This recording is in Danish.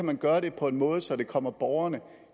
kan gøre det på en måde så det kommer borgerne